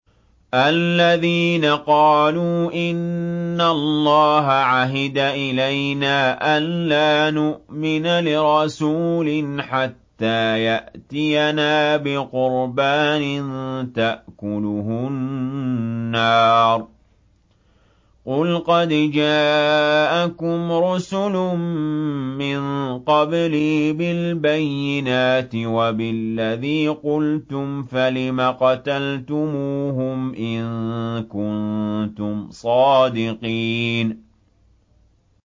الَّذِينَ قَالُوا إِنَّ اللَّهَ عَهِدَ إِلَيْنَا أَلَّا نُؤْمِنَ لِرَسُولٍ حَتَّىٰ يَأْتِيَنَا بِقُرْبَانٍ تَأْكُلُهُ النَّارُ ۗ قُلْ قَدْ جَاءَكُمْ رُسُلٌ مِّن قَبْلِي بِالْبَيِّنَاتِ وَبِالَّذِي قُلْتُمْ فَلِمَ قَتَلْتُمُوهُمْ إِن كُنتُمْ صَادِقِينَ